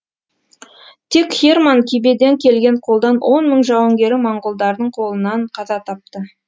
тек херман кибеден келген қолдан он мың жауынгері монғолдардың қолынан қаза тапты